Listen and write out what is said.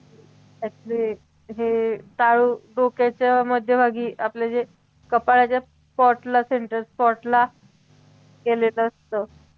actually हे टाळू डोक्याच्या मध्यभागी आपलं जे कपाळाच्या spot ला central spot ला केलेलं असतं